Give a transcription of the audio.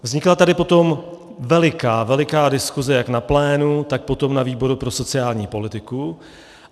Vznikla tady potom veliká, veliká diskuse jak na plénu, tak potom na výboru pro sociální politiku.